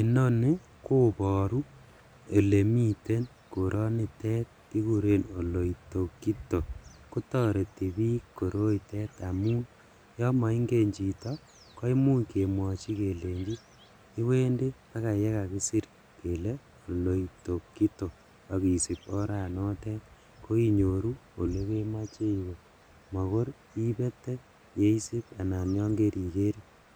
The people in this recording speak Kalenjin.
Inoni koboru elemiten koronitet kikuren oloitokitok kotoreti biik koroitet amun yomoingen chito koimuch kemwochi kelenji iwendi akoi olekakisir kele oloitokitok akisip oranotet koinyoru olekemoche iwe makor ibete yeisip anan yongerike